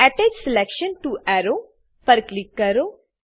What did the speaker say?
attach selection to arrow પર click કરો